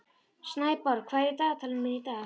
Snæborg, hvað er í dagatalinu mínu í dag?